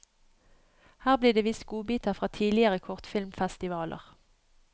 Her blir det vist godbiter fra tidligere kortfilmfestivaler.